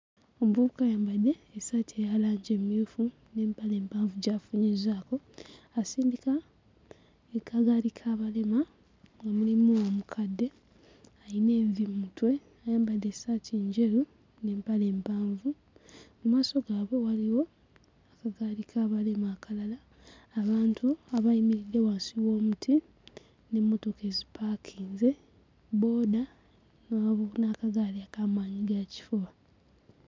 Omuvubuka ayambadde essaati eya langi emmyufu n'empale empanvu gy'afunyizzaako, asindika akagaali k'abalema nga mulimu omukadde ayina envi mu mutwe, ayambadde essaati enjeru n'empale empanvu. Mu maaso gaabwe waliwo akagaali k'abalema akalala, abantu abayimiridde wansi w'omuti n'emmotoka ezipaakinze, bbooda n'akagaali aka maanyigakifuba.